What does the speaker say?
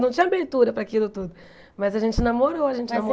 Não tinha abertura para aquilo tudo, mas a gente namorou, a gente